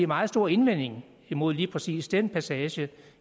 meget stor indvending imod lige præcis den passage